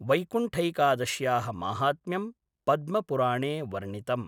वैकुण्ठैकादश्याः माहात्म्यं पद्मपुराणे वर्णितम्।